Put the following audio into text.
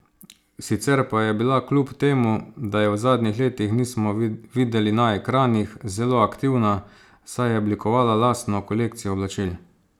Sicer pa je bila kljub temu, da je v zadnjih letih nismo videli na ekranih, zelo aktivna, saj je oblikovala lastno kolekcijo oblačil.